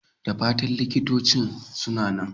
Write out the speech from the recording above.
Da fatan likitocin suna nan?